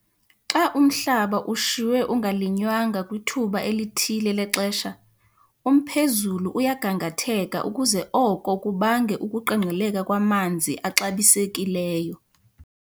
Xa umhlaba ushiywe ungalinywanga kwithuba elithile lexesha, umphezulu uyagangatheka ukuze oko kubange ukuqengqeleka kwamanzi axabisekileyo.